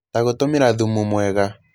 Ta gũtũmĩra thumu mwega